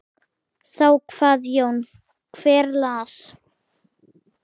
Þá kvað Jón: Hver las?